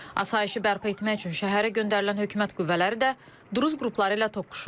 Asayişi bərpa etmək üçün şəhərə göndərilən hökumət qüvvələri də Druzi qrupları ilə toqquşub.